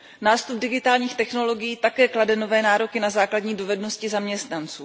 Nástup digitálních technologií také klade nové nároky na základní dovednosti zaměstnanců.